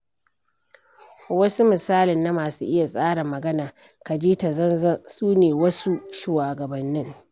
Wani misalin na masu iya tsara magana ka ji ta zanzan su ne wasu shugabannin.